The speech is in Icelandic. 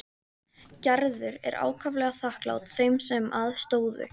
Gerður er ákaflega þakklát þeim sem að stóðu.